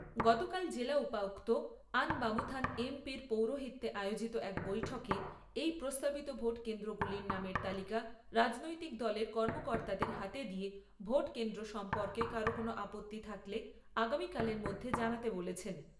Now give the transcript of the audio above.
গতকাল জেলা উপায়ুক্ত আনবামুথান এমপি র পৌরোহিত্যে আয়োজিত এক বৈঠকে এই প্রস্তাবিত ভোট কেন্দ্রগুলির নামের তালিকা রাজনৈতিক দলের কর্মকর্তাদের হাতে দিয়ে ভোট কেন্দ্র সম্পর্কে কারো কোন আপত্তি থাকলে আগামীকালের মধ্যে জানাতে বলেছেন।